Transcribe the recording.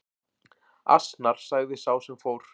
Asnar sagði sá sem fór.